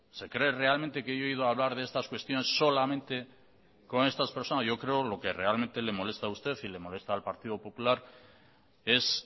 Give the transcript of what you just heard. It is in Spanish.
se cree realmente que yo he ido a hablar de estas cuestiones solamente con estas personas yo creo lo que realmente le molesta a usted y le molesta al partido popular es